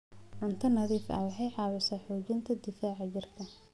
Cunto nadiif ah waxay caawisaa xoojinta difaaca jirka.